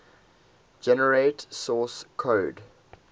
generate source code